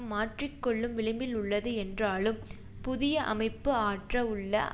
மாற்றிக்கொள்ளும் விளிம்பில் உள்ளது என்றாலும் புதிய அமைப்பு ஆற்ற உள்ள